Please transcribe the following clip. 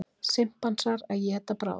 Simpansar að éta bráð.